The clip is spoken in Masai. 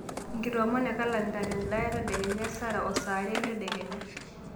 enkitomonoo e kalenda te endaa e tadekenya o sarah saa are entedekenya